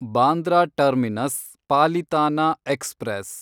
Bandra terminus Palitana express